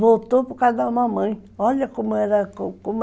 Voltou por causa da mamãe, olha como era